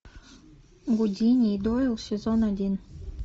гудини и дойл сезон один